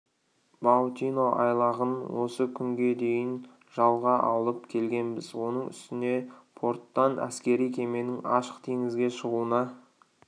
баутино айлағын осы күнге дейін жалға алып келгенбіз оның үстіне порттан әскери кеменің ашық теңізге шығуына